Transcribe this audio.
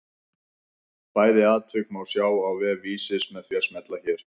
Bæði atvik má sjá á vef Vísis með því að smella hér.